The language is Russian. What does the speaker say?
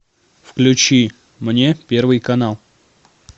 включи мне первый канал